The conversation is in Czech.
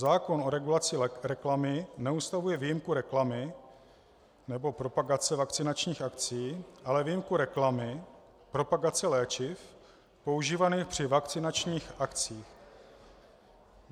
Zákon o regulaci reklamy neustavuje výjimku reklamy nebo propagace vakcinačních akcí, ale výjimku reklamy propagace léčiv používaných při vakcinačních akcích.